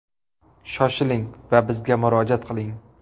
Shoshiling va bizga murojaat qiling!